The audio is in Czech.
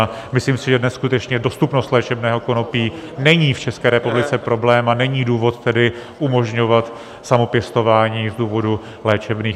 A myslím si, že dnes skutečně dostupnost léčebného konopí není v České republice problém, a není důvod tedy umožňovat samopěstování z důvodu léčebných.